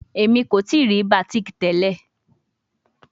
Emi ko tii ri batik tẹlẹ